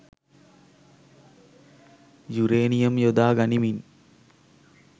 uranium යොදා ගනිමින්